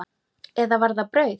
Eða var það brauð?